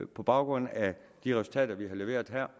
på baggrund af de resultater vi har leveret her